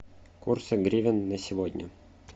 курсы гривен на сегодня